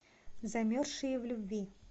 замерзшие в любви